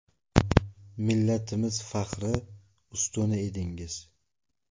Millatimiz faxri, ustuni edingiz.